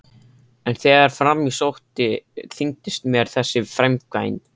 En þegar fram í sótti þyngdist mér þessi framkvæmd.